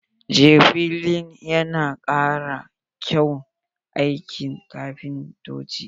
Jakplini yana kara kyaun aikin kafintoci.